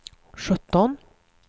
sjutton